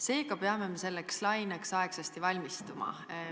Seega peame selleks laineks aegsasti valmistuma.